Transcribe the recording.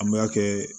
An b'a kɛ